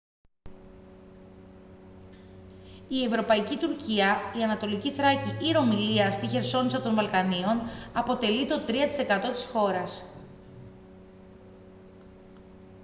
η ευρωπαϊκή τουρκία η ανατολική θράκη ή ρωμυλία στη χερσόνησο των βαλκανίων αποτελεί το 3 τοις εκατό της χώρας